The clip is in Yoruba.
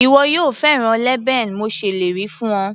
Ìwọ yóò fẹ́ràn leban mo ṣèlérí fún ọ.